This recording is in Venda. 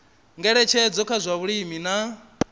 ngeletshedzo kha zwa vhulimi na